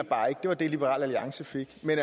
det var det liberal alliance fik men